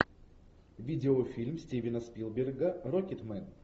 видеофильм стивена спилберга рокетмен